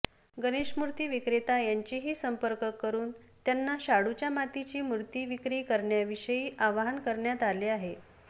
गणेशमूर्ती विक्रेता यांचेही संपर्क करून त्यांना शाडूच्या मातीची मूर्ती विक्री करण्याविषयी आवाहन करण्यात आले आहे